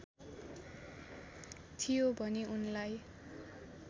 थियो भने उनलाई